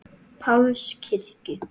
Páls kirkju.